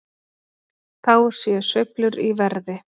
Þá séu sveiflur í verði.